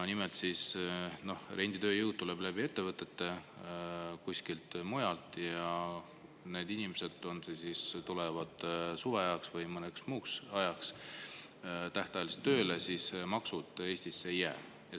Nimelt, renditööjõud tuleb läbi ettevõtete kuskilt mujalt ja kui need inimesed tulevad kas suveajaks või mõneks muuks ajaks tähtajaliselt tööle, siis maksud Eestisse ei jää.